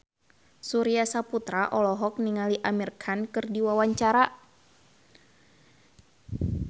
Surya Saputra olohok ningali Amir Khan keur diwawancara